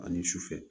Ani sufɛ